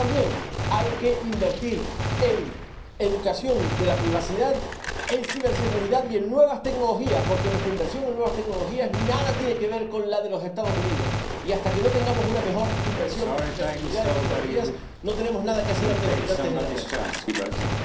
Pero también hay que invertir en educación de la privacidad, en ciberseguridad y en nuevas tecnologías, porque nuestra inversión en nuevas tecnologías nada tiene que ver con la de los Estados Unidos y, hasta que no tengamos una mejor inversión en seguridad y tecnologías, no tenemos nada que hacer ante los gigantes de la red.